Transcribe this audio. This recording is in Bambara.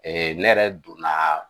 ne yɛrɛ donna